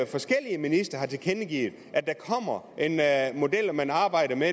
forskellige ministre jo tilkendegivet at model og at man arbejder med